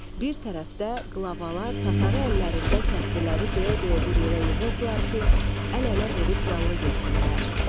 Bir tərəfdə qlavalar tatarı əllərində kəndliləri döyə-döyə bir yerə yığırdılar ki, əl-ələ verib yallı getsinlər.